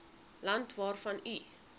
land waarvan u